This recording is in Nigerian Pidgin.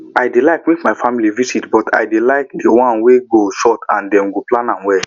i dey like make my family visit but i dey like the ones wey short and dem plan am well